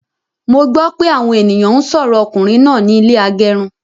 Mo gbọ pé àwọn ènìyàn n sọrọ ọkùnrin náà ní ilé agẹrun